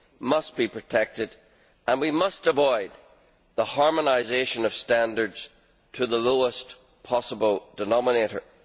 must be protected and that we must avoid a harmonisation of standards to the lowest possible denominator.